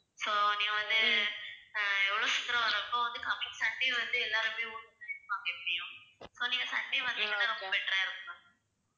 so நீங்க வந்து அஹ் எவ்வளவு சீக்கிரம் வர்றப்போ வந்து coming sunday வந்து எல்லாருமே ஊருக்குள்ள இருப்பாங்க எப்படியும். so நீங்க sunday வந்தீங்கன்னா ரொம்ப better ஆ இருக்கும் ma'am.